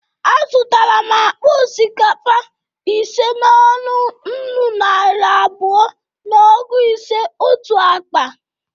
A zụtara m akpa osikakpa ise n'ọnụ nnụ naịra abụọ na ọgụ ise otu akpa.